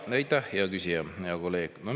Aitäh, hea küsija, hea kolleeg!